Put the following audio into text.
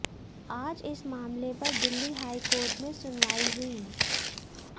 आज इस मामले पर दिल्ली हाईकोर्ट में सुनवाई हुई